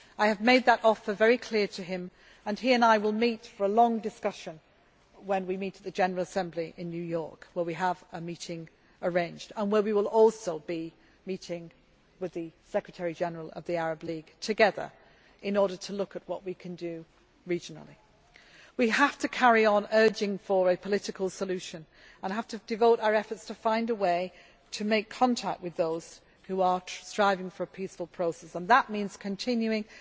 I have made that offer very clear to him and he and I will meet for a long discussion when we meet the General Assembly in New York, where we have a meeting arranged and where we will also be meeting the Secretary General of the Arab League together in order to look at what we can do regionally. We have to carry on urging a political solution and we have to devote our efforts to find a way to make contact with those who are striving for a peaceful process and that means continuing